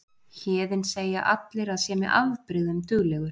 Héðinn segja allir að sé með afbrigðum duglegur.